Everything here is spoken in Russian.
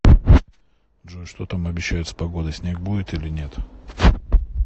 джой что там обещают с погодой снег будет или нет